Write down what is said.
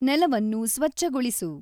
ನೆಲವನ್ನು ಸ್ವಚ್ಛಗೊಳಿಸು